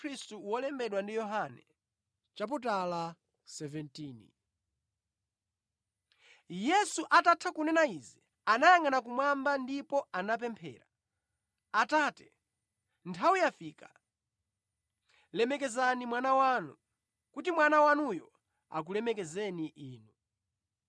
Yesu atatha kunena izi, anayangʼana kumwamba ndipo anapemphera: “Atate, nthawi yafika. Lemekezani Mwana wanu, kuti Mwana wanuyo akulemekezeni Inu.